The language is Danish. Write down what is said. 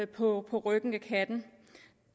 på på ryggen af katten